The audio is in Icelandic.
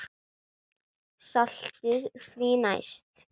Saltið því næst.